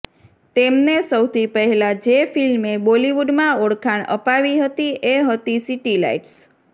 તેમને સૌથી પહેલા જે ફિલ્મે બોલીવુડમાં ઓળખાણ અપાવી હતી એ હતી સીટીલાઈટસ